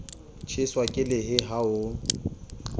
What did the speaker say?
tjheswa ke lehe ha o